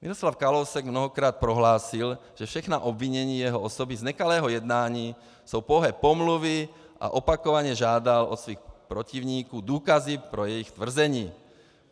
Miroslav Kalousek mnohokrát prohlásil, že všechna obvinění jeho osoby z nekalého jednání jsou pouhé pomluvy, a opakovaně žádal od svých protivníků důkazy pro jejich tvrzení.